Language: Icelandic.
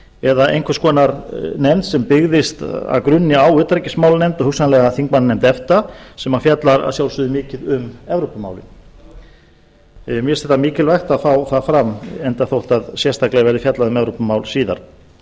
eða einhvers konar nefnd sem byggðist að grunni á utanríkismálanefnd og hugsanlega þingmannanefnd efta sem fjallar að sjálfsögðu mikið um evrópumálin mér finnst mikilvægt að fá það fram enda þótt sérstaklega verði fjallað um evrópumál síðar um öryggis